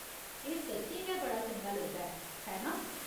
एह्‌‌ सच्चें गै बड़ा चंगा लगदा ऐ, है नां ?